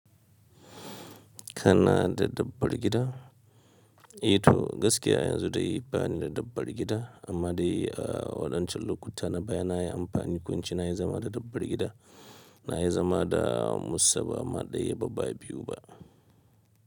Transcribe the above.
Kana da dabbar gida? Ito gaskiya yanzu dai ba ni da dabbar gida amma dai a waɗancan lokuta na baya na yi amfani, ko in ce na yi zama da dabbar gida. Na yi zama da musa bama daya ba biyu ba.